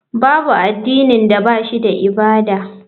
Babu addinin da ba shi da ibada.